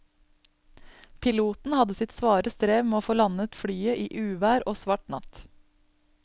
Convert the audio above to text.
Piloten hadde sitt svare strev med å få landet flyet i uvær og svart natt.